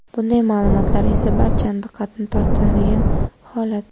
Bunday ma’lumotlar esa barchani diqqatini tortiradigan holat.